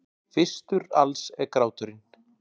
Fyrstur alls er gráturinn.